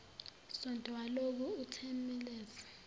sonto walokhu uthemeleza